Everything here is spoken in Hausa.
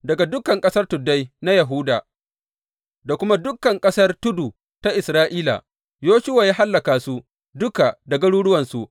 Daga dukan ƙasar tuddai na Yahuda, da kuma dukan ƙasar tudu ta Isra’ila, Yoshuwa ya hallaka su duka da garuruwansu.